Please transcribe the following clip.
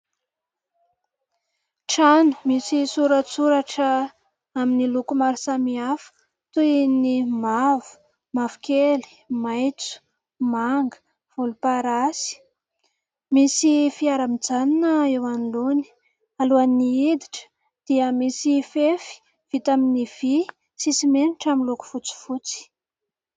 Trano misy soratsoratra amin'ny loko maro samihafa, toy ny : mavo, mavokely, maitso, manga, volomparasy. Misy fiara mijanona eo anoloany. Alohan'ny hiditra dia misy fefy vita amin'ny vỳ sy simenitra miloko fotsifotsy.